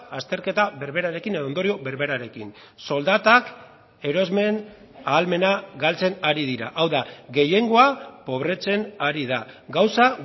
azterketa berberarekin edo ondorio berberarekin soldatak erosmen ahalmena galtzen ari dira hau da gehiengoa pobretzen ari da gauza